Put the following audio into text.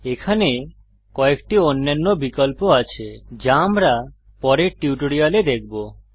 এখানে কযেকটি অন্যান্য বিকল্প আছে যা আমরা পরের টিউটোরিয়ালে দেখবো